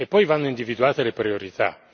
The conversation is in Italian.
E poi vanno individuate le priorità.